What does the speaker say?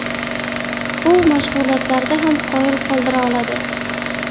U mashg‘ulotlarda ham qoyil qoldira oladi.